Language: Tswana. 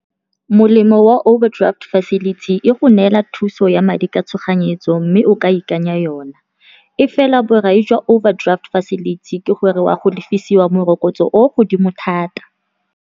Molemo wa overdraft facility e go neela thuso ya madi ka tshoganyetso, mme o ka ikanya yona. E fela borai jwa overdraft facility, ke gore wa go lefisiwa morokotso o godimo thata.